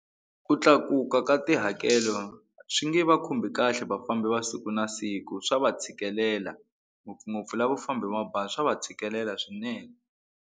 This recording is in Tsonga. Ku tlakuka ka tihakelo swi nge va khumbi kahle vafambi va siku na siku swa va tshikelela ngopfungopfu lavo famba hi mabazi swa va tshikelela swinene.